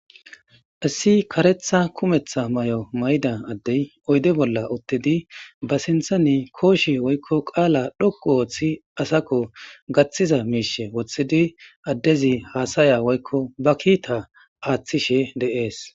Issi karetha kumetha mayo mayida adey oyide bolla utidi basinthan koshe woy qala dhoqu othidi gathida mishe wothidi adezi hasaya woyiko bakita athishe de's